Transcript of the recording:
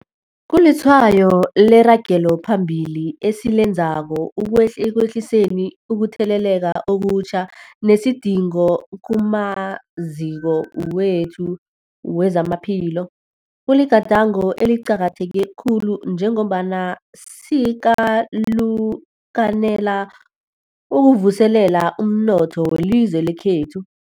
Kulitshwayo leragelo phambili esilenzako ekwehliseni ukutheleleka okutjha nesidingo kumaziko wethu wezamaphilo. Kuligadango eliqakatheke khulu njengombana sikalukanela ukuvuselela umnotho welizwe lekhethu.